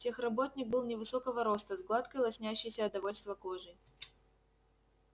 техработник был невысокого роста с гладкой лоснящейся от довольства кожей